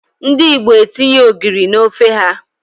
Ndị Igbo etinye ogiri n'ofe ha.